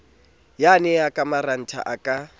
yane e ka marantha a